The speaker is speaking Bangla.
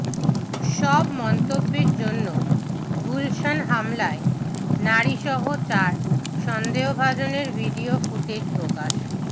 সব মন্তব্যের জন্য গুলশান হামলায় নারীসহ চার সন্দেহভাজনের ভিডিও ফুটেজ প্রকাশ